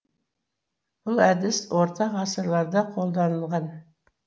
бұл әдіс орта ғасырларда қолданылған